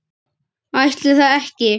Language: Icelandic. Ætli það ekki?